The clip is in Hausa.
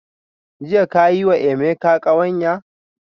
Jiya ka yi wa Emeka kawanya?